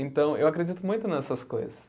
Então, eu acredito muito nessas coisas.